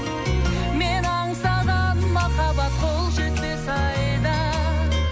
мен аңсаған махаббат қол жетпес айда